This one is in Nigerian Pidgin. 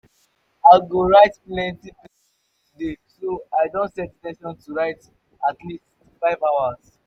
i go write plenty plenty today so i don set in ten tion to write at least five hours.